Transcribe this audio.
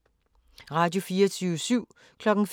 Radio24syv